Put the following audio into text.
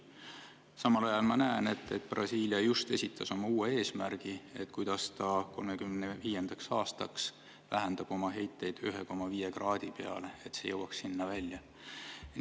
Samal ajal ma näen, et Brasiilia just esitas oma uue eesmärgi, kuidas ta 2035. aastaks vähendab oma heiteid, et jõuaks selle 1,5 kraadi peale välja.